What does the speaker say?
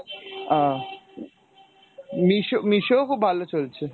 আহ Meesho Meesho ও খুব ভালো চলছে।